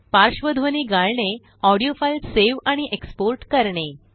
पार्श्वध्वनी गाळणेऑडिओ file save आणि export करणे